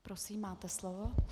Prosím, máte slovo.